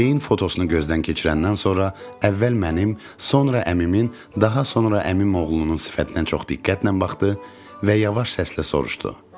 Beyin fotosunu gözdən keçirəndən sonra əvvəl mənim, sonra əmimin, daha sonra əmimoğlunun sifətinə çox diqqətlə baxdı və yavaş səslə soruşdu.